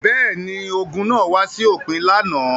Bẹ́ẹ̀ ni, ogun náà wá sí òpin lánàá.